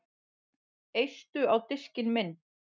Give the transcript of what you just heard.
Eistu á diskinn minn